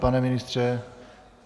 Pane ministře?